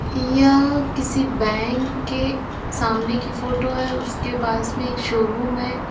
यह किसी बैंक के सामने की फोटो है उसके पास में एक शोरूम है।